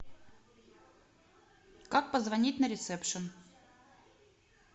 как позвонить на ресепшн